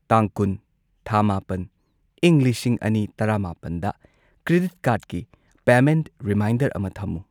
ꯇꯥꯡ ꯀꯨꯟ ꯊꯥ ꯃꯥꯄꯟ ꯢꯪ ꯂꯤꯁꯤꯡ ꯑꯅꯤ ꯇꯔꯥꯃꯥꯄꯟꯗ ꯀ꯭ꯔꯦꯗꯤꯠ ꯀꯥꯔꯗꯀꯤ ꯄꯦꯃꯦꯟꯠ ꯔꯤꯃꯥꯏꯟꯗꯔ ꯑꯃ ꯊꯝꯃꯨ꯫